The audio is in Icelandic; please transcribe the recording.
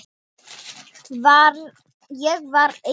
Ég var eigin